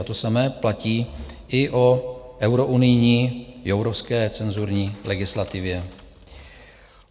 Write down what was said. A to samé platí i o eurounijní jourovské cenzurní legislativě.